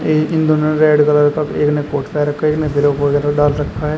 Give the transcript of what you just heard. ए इन दोनों ने रेड कलर का एक ने कोट पहन रखा है एक ने फ्रॉक वगैरह डाल रखा है।